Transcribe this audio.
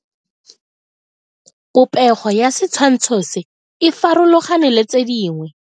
Popego ya setshwantsho se, e farologane le tse dingwe.